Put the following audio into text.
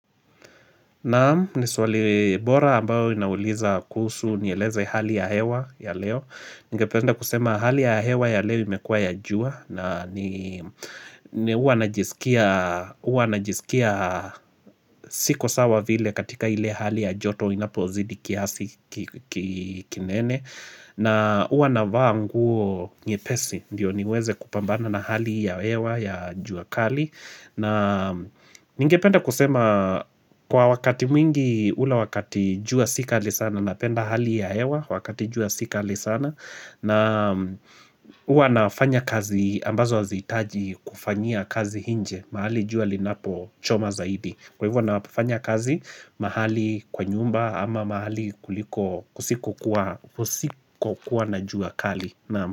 Naam, niswali bora ambayo inauliza kuhusu mielezo ya hali ya hewa ya leo Ningependa kusema hali ya hewa ya leo imekua ya jua na ni Uwa najisikia siko sawa vile katika ile hali ya joto inapozidi kiasi kinene na huwa na vaa nguo nyepesi ndio niweze kupambana na hali ya hewa ya jua kali na ningependa kusema kwa wakati mwingi ula wakati jua si kali sana na penda hali ya hewa wakati jua si kali sana na huwa nafanya kazi ambazo hazihitaji kufanyia kazi inje mahali jua linapo choma zaidi Kwa hivyo nafanya kazi mahali kwa nyumba ama mahali kuliko usiku kusiko kuwa na jua kali naam.